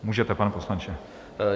Můžete, pane poslanče.